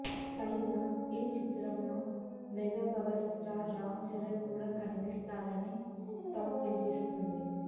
పైగా ఈ చిత్రంలో మెగాపవర్ స్టార్ రామ్ చరణ్ కూడా కనిపిస్తారని టాక్ వినిపిస్తుంది